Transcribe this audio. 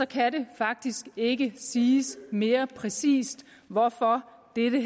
kan det faktisk ikke siges mere præcist hvorfor dette